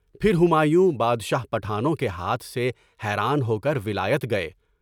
پھر ہمایوں بادشاہ پٹھانوں کے ہاتھ سے حیران ہو کر ولایت گئے۔